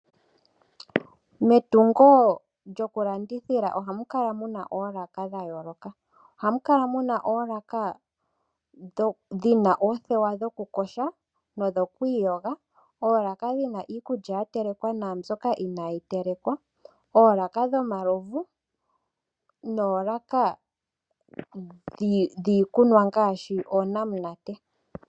Metungo lyokulandithila ohamu kala muna oolaka dhayooloka. Ohamu kala muna oolaka dhina oothewa dhokuyoga nodhokwiiyoga, oolaka dhina iikulya yatelekwa naambyoka inaayi telekwa, oolaka dhomalovu noolaka dhiikunwa ngaashi oonamunate.